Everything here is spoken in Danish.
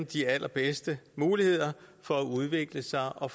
de allerbedste muligheder for at udvikle sig og